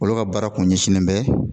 Olu ka baara kun ɲɛsinnen bɛ